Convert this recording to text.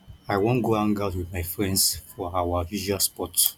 i wan go hangout with my friends for our usual spot